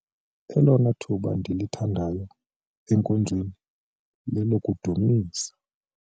Elona thuba ndilithandayo enkonzweni lelokudumisa.